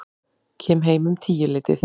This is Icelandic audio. Kem heim um tíuleytið.